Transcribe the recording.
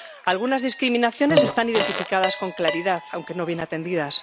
Algunas discriminaciones están identificadas con claridad, aunque no bien atendidas